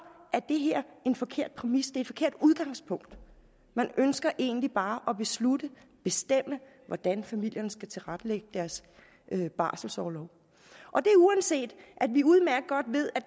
en forkert præmis et forkert udgangspunkt man ønsker egentlig bare at beslutte bestemme hvordan familierne skal tilrettelægge deres barselsorlov og det er uanset at vi udmærket godt ved at